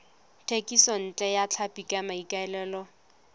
thekisontle ya tlhapi ka maikaelelo